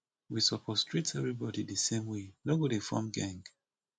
we suppose treat everybody de same way no go dey form geng